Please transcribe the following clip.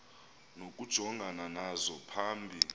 nokujongana nazo phambi